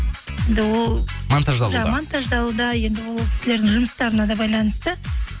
енді ол монтаждалуда монтаждалуда енді ол кісілердің жұмыстарына да байланысты